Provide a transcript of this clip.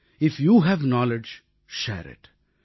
if you have knowledge share it